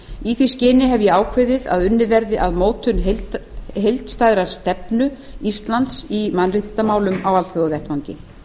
í því skyni hef ég ákveðið að unnið verði að mótun heildstæðrar stefnu íslands í mannréttindamálum á alþjóðavettvangi